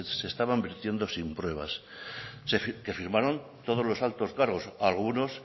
se estaban vertiendo sin pruebas que firmaron todos los altos cargos algunos